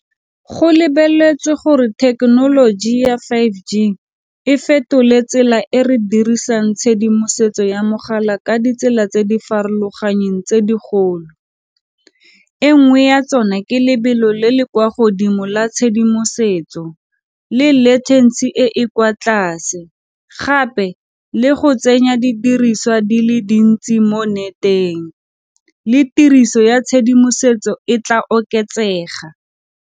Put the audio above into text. Go lebeletswe gore thekenoloji ya five_G e fetole tsela e re dirisang tshedimosetso ya mogala ka ditsela tse di farologaneng tse digolo, e nngwe ya tsona ke lebelo le le kwa godimo la tshedimosetso le latency e e kwa tlase, gape le go tsenya di diriswa di le dintsi mo nneteng, le tiriso ya tshedimosetso e tla oketsega.